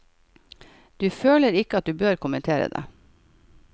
Du føler ikke at du bør kommentere det?